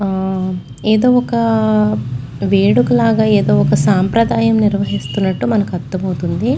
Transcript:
ఏదో ఒక వేడుక లాగా ఏదో ఒక సాంప్రదాయం నిర్వహిస్తున్నట్టు మనకు అర్థమవుతుంది.